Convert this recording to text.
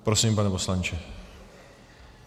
Prosím, pane poslanče.